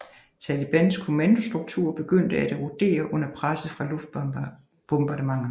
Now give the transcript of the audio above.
Talibans kommandostruktur begyndte at erodere under presset fra luftbombardementerne